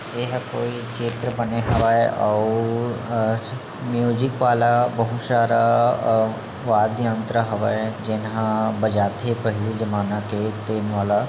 यहाँ कोई चित्र बने हवय अउ म्यूजिक वाला बहुत सारे अ वाद्य यंत्र हवय जेन ह पहिले जमाना के ट्रेंड वाला --